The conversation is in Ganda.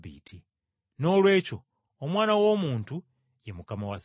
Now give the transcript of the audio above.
Noolwekyo Omwana w’Omuntu ye Mukama wa Ssabbiiti.”